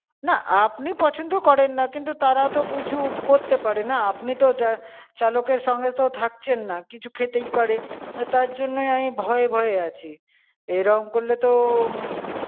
না, আপনি পছন্দ করেননা, কিন্তু তারা তো কিছু করতে পারেনা? আপনি তো চালকের সঙ্গে তো থাকছেন না, কিছু খেতেই পারে। তার জন্যে আমি ভয়ে ভয়ে আছি। এরাম করলে তো হম